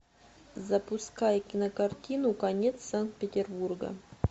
запускай кинокартину конец санкт петербурга